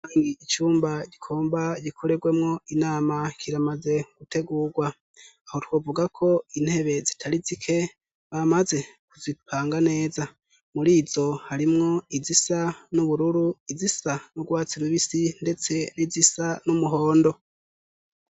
Icyumba kigomba gikorerwemwo inama kiramaze gutegurwa aho twovuga ko intebe zitari zike bamaze kuzipanga neza muri izo harimwo izisa n'ubururu izisa n'u rwatsirubisi ndetse n'izisa n'umuhondo.